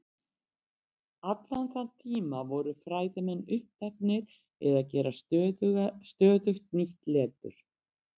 allan þann tíma voru fræðimenn uppteknir við að gera stöðugt ný letur